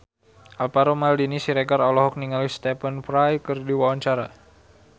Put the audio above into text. Alvaro Maldini Siregar olohok ningali Stephen Fry keur diwawancara